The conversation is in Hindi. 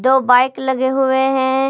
दो बाइक लगे हुए हैं।